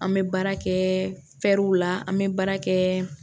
An bɛ baara kɛ w la an bɛ baara kɛ